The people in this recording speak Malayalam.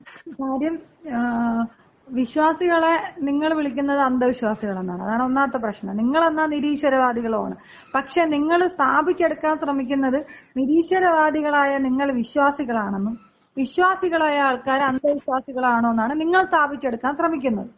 കാര്യം, വിശ്വാസികളെ നിങ്ങള് വിളിക്കുന്നത് അന്ധവിശ്വാസികളെന്നാണ്. അതാണ് ഒന്നാമത്തെ പ്രശ്നം. നിങ്ങളെന്നാ നിരീശ്വരവാദികളുമാണ്. പക്ഷേ നിങ്ങള് സ്ഥാപിച്ചെടുക്കാൻ ശ്രമിക്കുന്നത് നിരീശ്വരവാദികളായ നിങ്ങള് വിശ്വാസികളാണെന്നും വിശ്വാസികളായ ആൾക്കാര് അന്ധവിശ്വാസികളാണെന്നുമാണ് നിങ്ങള് സ്ഥാപിച്ചെടുക്കാൻ ശ്രമിക്കുന്നത്.